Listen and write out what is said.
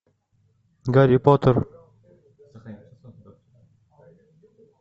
гарри поттер